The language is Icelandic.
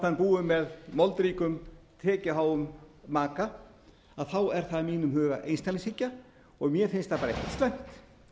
hann búi með moldríkum tekjuháum maka er það í mínum huga einstaklingshyggja og mér finnst það bara ekkert slæmt